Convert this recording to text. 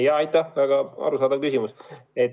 Aitäh, väga arusaadav küsimus!